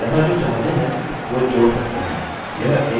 तो यहाँ जो चाहते हैं वो जोड़ सकते हैं यह एक एस्ट्रिक हो सकता है